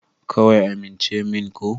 Kawai amince min ko?